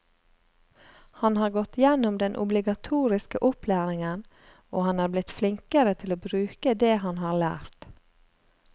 Han har gått gjennom den obligatoriske opplæringen og han er blitt flinkere til å bruke det han har lært.